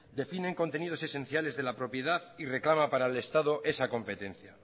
definen contenidos esenciales de la propiedad y reclama para el estado esa competencia